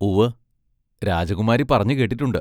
ഉവ്വ്, രാജകുമാരി പറഞ്ഞു കേട്ടിട്ടുണ്ട്!